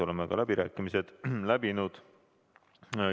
Oleme ka läbirääkimised läbi teinud.